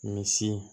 Misi